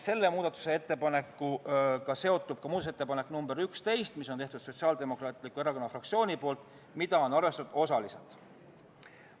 Selle muudatusettepanekuga on seotud ka muudatusettepanek nr 11, mille on teinud Sotsiaaldemokraatliku Erakonna fraktsioon ja mida on arvestatud osaliselt.